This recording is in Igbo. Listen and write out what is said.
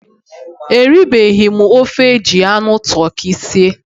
Eribeghi m ofe eji anụ tụrkị sie